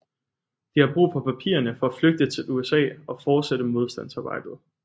De har brug for papirerne for at flygte til USA og fortsætte modstandsarbejdet